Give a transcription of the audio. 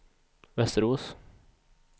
Västerås